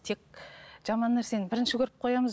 тек жаман нәрсені бірінші көріп қоямыз